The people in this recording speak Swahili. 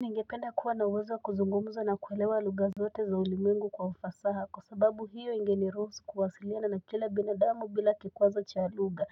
Ningependa kuwa na uwezo wa kuzungumza na kuelewa lugha zote za ulimwengu kwa ufasaha kwa sababu hiyo ingenirusu kuwasiliana na kila binadamu bila kikwazo cha lugha